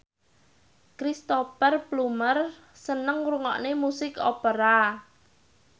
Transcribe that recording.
Cristhoper Plumer seneng ngrungokne musik opera